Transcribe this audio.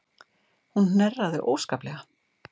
Hún hnerraði óskaplega.